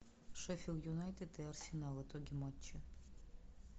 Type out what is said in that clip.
шеффилд юнайтед и арсенал итоги матча